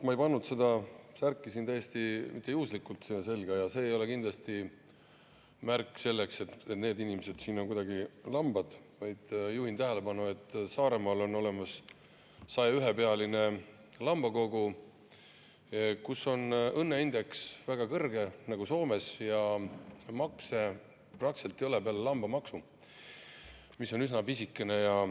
Ma ei pannud seda särki mitte täiesti juhuslikult selga ja see ei ole kindlasti märk sellest, et need inimesed siin on kuidagi lambad, vaid juhin tähelepanu, et Saaremaal on olemas 101‑pealine Lambakogu, kus on õnneindeks väga kõrge, nagu Soomeski, ja makse praktiliselt ei ole peale lambamaksu, mis on üsna pisikene.